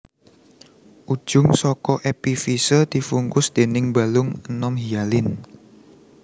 Ujung saka epifise dibungkus déning balung enom hialin